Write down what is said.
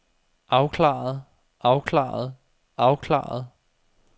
afklaret afklaret afklaret